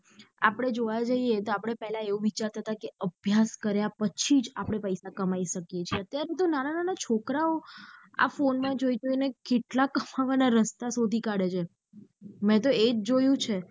આપડે જોવા જયીયે તો આપળે પેહલા એવું વિચારતા હતા કે અભ્યાસ કાર્ય પછી જ આપડે પૈસા કમાઈ શકીયે છે અત્યારે તો નાના નાના છોકરો આ ફોને માં જોઈ જોઈને કેટલા કમાવાના રસ્તાઓ શોધી કાઢે છે મેતો એજ જોયું છે.